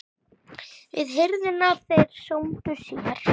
Við hirðina þeir sómdu sér.